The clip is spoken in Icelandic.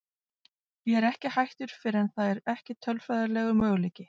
Ég er ekki hættur fyrr en það er ekki tölfræðilegur möguleiki.